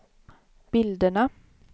bilderna